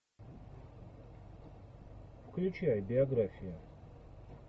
включай биографию